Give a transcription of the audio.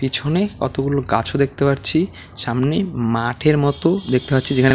পিছনে কতগুলো গাছও দেখতে পাচ্ছি সামনে মাঠের মতো দেখতে পাচ্ছি যেখানে--